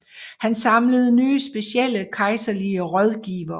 Han samlede nye specielle kejserlige rådgivere